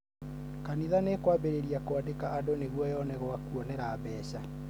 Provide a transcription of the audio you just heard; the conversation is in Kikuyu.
kanitha nĩũkwambĩrĩĩria kũandĩka andũ nĩgwo yone gwakuonera mbeca